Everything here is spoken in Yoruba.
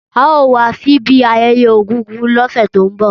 Ao wa sibi ayeye egúngún lose to nbo